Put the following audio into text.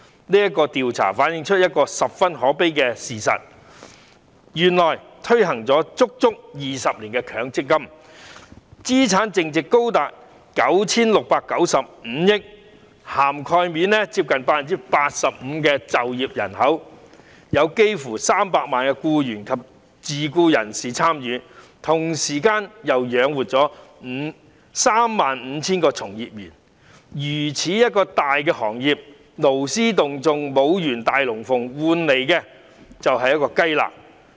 這項調查反映出一個十分可悲的事實：原來，強積金制度推行了整整20年，資產淨值高達 9,695 億元，涵蓋接近 85% 的就業人口，有幾近300萬名僱員及自僱人士參與，同時並養活了 35,000 個從業員，這個如此龐大的行業勞師動眾演出一場"大龍鳳"，換來的卻只是一塊"雞肋"。